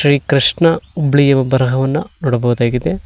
ರೀ ಕೃಷ್ಣ ಬಿಳಿಯ ಬರಹವನ್ನ ನೋಡಬಹುದಾಗಿದೆ.